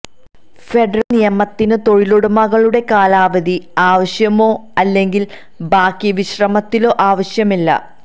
federal നിയമത്തിന് തൊഴിലുടമകളുടെ കാലാവധി ആവശ്യമോ അല്ലെങ്കിൽ ബാക്കി വിശ്രമത്തിലോ ആവശ്യമില്ല